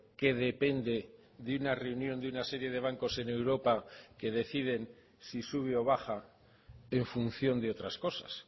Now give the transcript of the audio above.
que depende de una reunión de una serie de bancos en europa que deciden si sube o baja en función de otras cosas